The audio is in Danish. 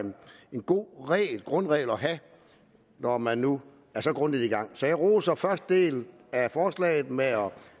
en god grundregel at have når man nu er så grundigt i gang så jeg roser første del af forslaget med at